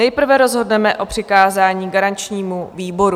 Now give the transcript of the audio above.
Nejprve rozhodneme o přikázání garančnímu výboru.